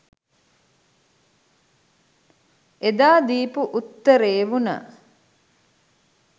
එදා දීපු උත්තරේ වුණ